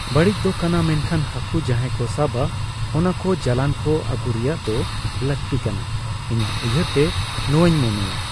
ᱵᱟᱹᱲᱤᱡ ᱫᱚ ᱠᱟᱱᱟ ᱢᱮᱱᱠᱷᱟᱱ ᱦᱟᱠᱩ ᱡᱟᱦᱟᱸᱭ ᱠᱚ ᱥᱟᱵᱟ ᱚᱱᱟᱠᱚ ᱡᱟᱞᱟᱱᱠᱚ ᱟᱹᱜᱩᱨᱮᱭᱟᱜ ᱫᱚ ᱞᱟᱹᱠᱛᱤ ᱠᱟᱱᱟ ᱤᱧᱟᱹᱜ ᱩᱭᱦᱟᱹᱨ ᱛᱮ ᱱᱚᱣᱟᱧ ᱢᱚᱱᱮᱭᱟ ᱾